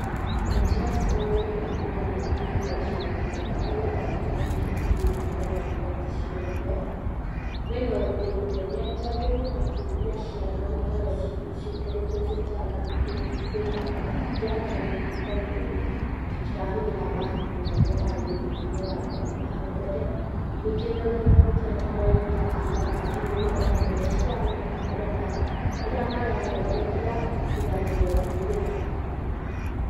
Mũtaratara ũyũ ingiuga nĩ ũkinyĩte gĩcigo-inĩ gĩakwa na nĩ ũrahũthĩrwo nĩ cukuru nyingĩ onagũkorwo ti ciothe. Wĩna ũguni mũnene tondũ nĩ ũrataithia ciana gũkorrwo ciĩ njangamũku tondũ citirahũthĩra mabuku ta ũrĩa ũrarĩ mũtugo wa nahau mbere. Ningĩ mũtaratara ũyũ nĩũrataithia arimũ ohamwe na ciana gũkorwo na harĩa mararorereria, tiga tu okũhũthĩra mabuku.